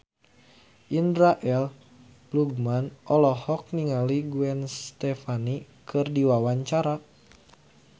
Indra L. Bruggman olohok ningali Gwen Stefani keur diwawancara